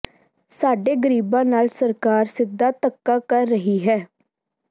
ਸਾਡੇ ਗਰੀਬਾਂ ਨਾਲ ਸਰਕਾਰ ਸਿੱਧਾ ਧੱਕਾ ਕਰ ਰਹੀ ਹੈ